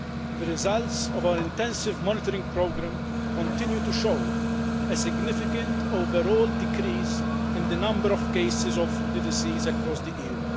The results of our intensive monitoring programme continue to show a significant overall decrease in the number of cases of the disease across the EU.